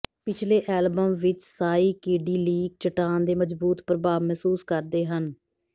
ਪਿਛਲੇ ਐਲਬਮ ਵਿੱਚ ਸਾਇਕਿਡਿਲੀਕ ਚੱਟਾਨ ਦੇ ਮਜ਼ਬੂਤ ਪ੍ਰਭਾਵ ਮਹਿਸੂਸ ਕਰਦੇ ਹਨ